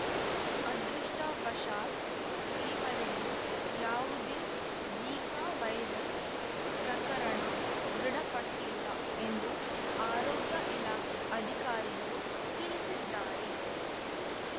ಅದೃಷ್ಟವಶಾತ್‌ ಈವರೆಗೂ ಯಾವುದೇ ಜೀಕಾ ವೈರಸ್‌ ಪ್ರಕರಣ ದೃಢಪಟ್ಟಿಲ್ಲ ಎಂದು ಆರೋಗ್ಯ ಇಲಾಖೆ ಅಧಿಕಾರಿಗಳು ತಿಳಿಸಿದ್ದಾರೆ